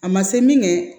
A ma se min kɛ